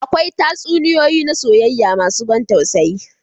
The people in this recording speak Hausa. Akwai tatsuniyoyi na soyayya masu ban tausayi.